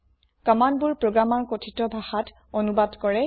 কম্মান্দবোৰ প্ৰোগ্ৰামাৰ কথিত ভাষাত অনুবাদ কৰে